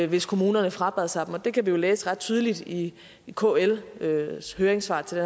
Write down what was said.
hvis kommunerne frabad sig dem og vi kan jo læse ret tydeligt i kls høringssvar til